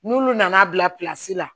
N'olu nana bila la